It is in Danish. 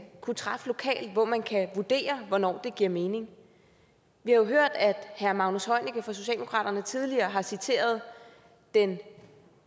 kunne træffes lokalt hvor man kan vurdere hvornår det giver mening vi har jo hørt at herre magnus heunicke fra socialdemokratiet tidligere har citeret den